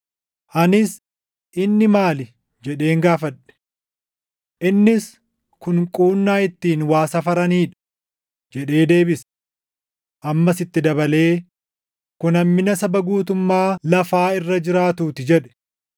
Anis, “Inni maali?” jedheen gaafadhe. Innis, “Kun quunnaa ittiin waa safaranii dha” jedhee deebise. Ammas itti dabalee, “Kun hammina saba guutummaa lafaa irra jiraatuu ti” jedhe.